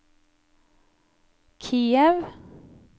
Kiev